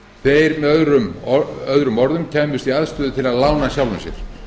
þeir með öðrum orðum kæmust í aðstöðu til að lána sjálfum sér